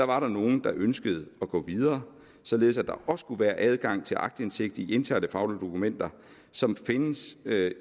var nogle der ønskede at gå videre således at der også kunne være adgang til aktindsigt i interne faglige dokumenter som findes